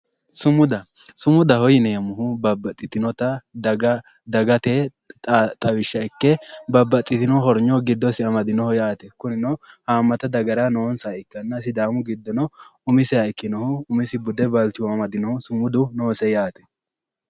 Sumuda, Sumudaho yineemmohu babbaxitinotta daga dagate xawishsha ikke babbaxitino horonyo giddose amadinoho yaate kuninno hamatta dagahara noonsaha ikkanna sidaamu giddono umiseha ikkinohu umise balchoma amadino sumudi noose yaate.